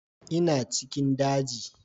Ina cikin daji